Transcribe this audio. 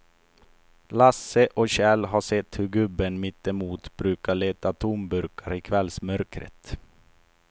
Lasse och Kjell har sett hur gubben mittemot brukar leta tomburkar i kvällsmörkret.